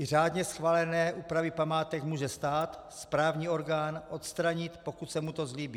I řádně schválené úpravy památek může stát, správní orgán, odstranit, pokud se mu to zlíbí.